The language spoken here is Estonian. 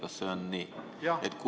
Kas see on nii?